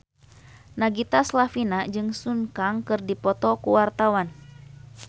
Nagita Slavina jeung Sun Kang keur dipoto ku wartawan